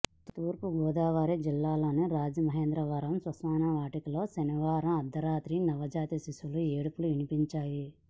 తూర్పుగోదావరి జిల్లాలోని రాజమహేంద్రవరం శ్మశాన వాటికలో శనివారం అర్ధరాత్రి నవజాత శిశువు ఏడుపులు వినిపించాయి